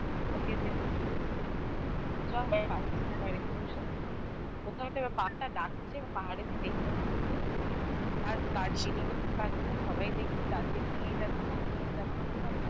পারছি না বাড়িতে বসে কোথাও তো এবার পা টা ডাকছে বা পাহাড়ে যেতেই হবে ঘুরতে আর Darjeeling পাচ্ছে না সবাই দেখছে Darjeeling ই যাচ্ছে যাবো না বলে ভাবলাম Manali যাই